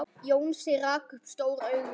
Jónsi rak upp stór augu.